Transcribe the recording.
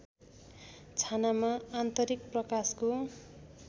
छानामा आन्तरिक प्रकाशको